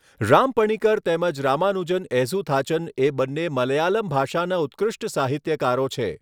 રામપણીકર તેમજ રામાનુજન એઝહુથાચન એ બંને મલયાલમ ભાષાના ઉત્કૃષ્ટ સાહિત્યકારો છે.